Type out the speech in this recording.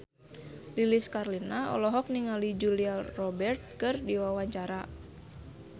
Lilis Karlina olohok ningali Julia Robert keur diwawancara